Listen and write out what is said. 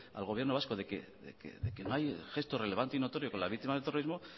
al gobierno vasco de que no hay gesto relevante y notorio con la víctima del terrorismo